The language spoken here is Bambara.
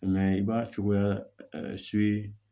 i b'a cogoya